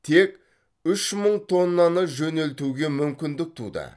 тек үш мың тоннаны жөнелтуге мүмкіндік туды